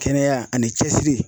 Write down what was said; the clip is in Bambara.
Kɛnɛya ani cɛsiri.